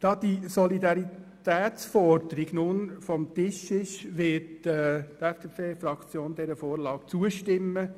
Da die Solidaritätsforderung nun vom Tisch ist, wird die FDP-Fraktion dieser Vorlage zustimmen,